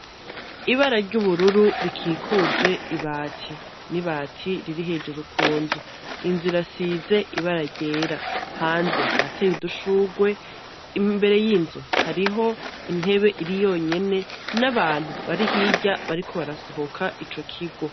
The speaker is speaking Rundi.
Ibara ry'ubururu rikikuje ibati. N'ibati riri hejeru kunzu .Inzu irasize ibara ryera hanze harateye udushugwe, imbere y'inzu hariho intebe iri yonyene n'abantu barihirya bariko barasohoka ico kigo.